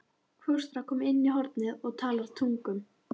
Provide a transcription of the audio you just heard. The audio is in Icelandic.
Fóstra komin í hornið og talar tungum.